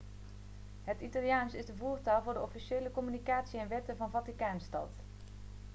het italiaans is de voertaal voor de officiële communicatie en wetten van vaticaanstad